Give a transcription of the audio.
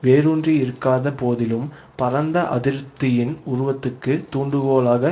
வேறூன்றியிருக்காத போதிலும் பரந்த அதிருப்தியின் உருவத்துக்கு தூண்டுகோலாக